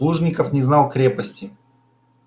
плужников не знал крепости